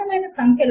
link ను చూడండి